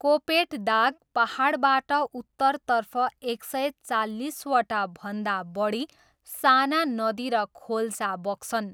कोपेट Dag पाहाडबाट उत्तरतर्फ एक सय चालिसवटा भन्दा बढी साना नदी र खोल्छा बग्छन्।